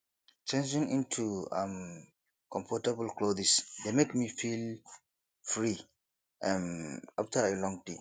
changing into um comfortable clothes dey make me feel free um after a long day